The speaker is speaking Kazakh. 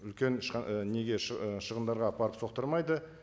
үлкен неге ы шығындарға апарып соқтырмайды